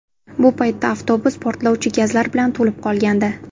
Bu paytda avtobus portlovchi gazlar bilan to‘lib qolgandi.